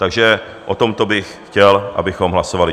Takže o tomto bych chtěl, abychom hlasovali.